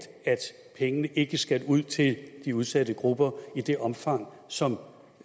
at pengene ikke skal ud til de udsatte grupper i det omfang som